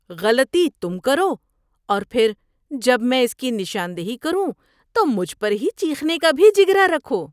‏غلطی تم کرو اور پھر جب میں اس کی نشاندہی کروں تو مجھ پر چیخنے کا بھی جگرا رکھو۔